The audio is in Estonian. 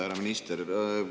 Härra minister!